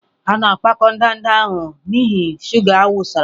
A na-agbakọta ndanda ndị ahụ n'ihi shuga a wụsara.